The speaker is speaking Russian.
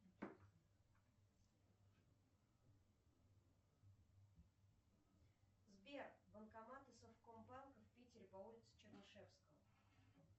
сбер банкоматы совкомбанка в питере по улице чернышевского